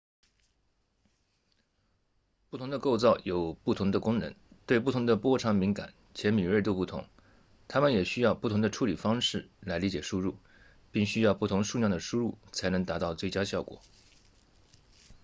不同的构造有不同的功能对不同的波长敏感且敏锐度不同它们也需要不同的处理方式来理解输入并需要不同数量的输入才能达到最佳效果